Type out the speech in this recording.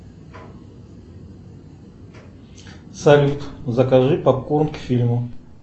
салют закажи попкорн к фильму